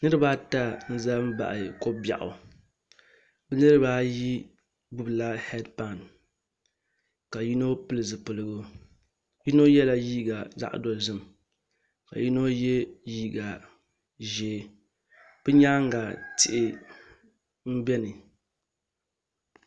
Niraba ata n ʒɛ n baɣa ko biɛɣu niraba ayi gbubila heed pai ka yino pili zipiligu yino yɛla liiga zaɣ dozim ka yino yɛ liiga ʒiɛ bi nyaanga tihi n biɛni